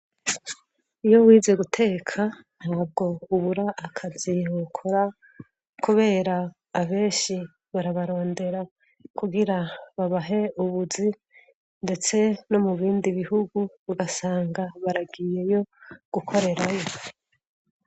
iyo wize guteka ntabwo ubura akazi wokora kubera abenshi barabarondera kugira babahe ubuzi ndetse no mu bindi bihugu ugasanga baragiyeyo gukorerayo